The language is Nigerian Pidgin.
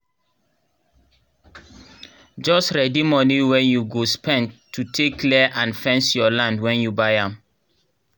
jus readi moni wen u go spend to take clear and fence your land wen u buy am